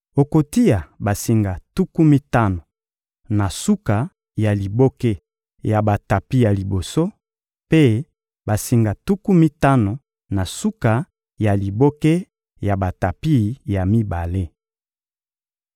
Okotia basinga tuku mitano na suka ya liboke ya batapi ya liboso, mpe basinga tuku mitano na suka ya liboke ya batapi ya mibale.